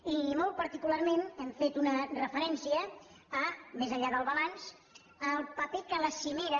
i molt particularment hem fet una referència més enllà del balanç al paper que la cimera